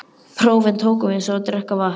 Prófin tókum við eins og að drekka vatn.